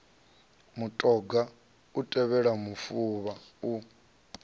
mutoga u tevhela mufuvha u